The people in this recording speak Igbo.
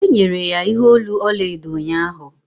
e nyere ya ihe olu ọla edo ụnyahụ